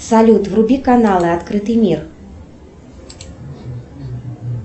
салют вруби каналы открытый мир